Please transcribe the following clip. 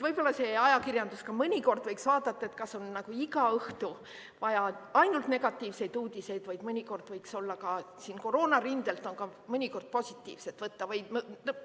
Võib-olla ajakirjandus võiks mõnikord vaadata, et kas on iga õhtu vaja ainult negatiivseid uudiseid, mõnikord on ka siit koroonarindelt midagi positiivset võtta.